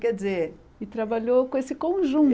Quer dizer... E trabalhou com esse